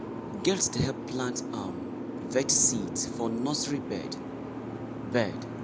girls dey help plant um veg seeds for nursery bed. bed.